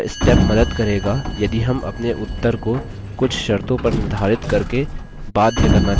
यह step मदद करेगा यदि हम अपने उत्तर को कुछ शर्तों पर निर्धारित करके बाध्य करना चाहते हैं